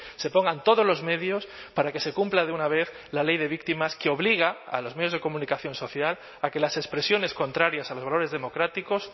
se pongan todos los medios para que se cumpla de una vez la ley de víctimas que obliga a los medios de comunicación social a que las expresiones contrarias a los valores democráticos